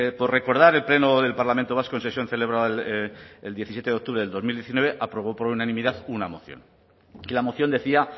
por recordar el pleno del parlamento vasco en sesión celebrada el diecisiete de octubre del dos mil diecinueve aprobó por unanimidad una moción y la moción decía